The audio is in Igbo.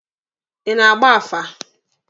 Ị na-agba afa?